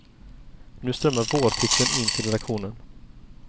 Nu strömmar vårtipsen in till redaktionen.